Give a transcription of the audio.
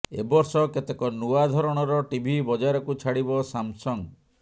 ଏ ବର୍ଷ କେତେକ ନୂଆ ଧରଣର ଟିଭି ବଜାରକୁ ଛାଡିବ ସାମସଙ୍ଗ